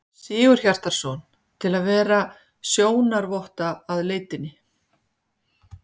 Sigurhjartarson, til að vera sjónarvotta að leitinni.